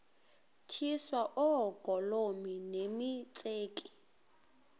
tyiswa oogolomi nemitseke